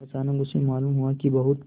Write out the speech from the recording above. अचानक उसे मालूम हुआ कि बहुत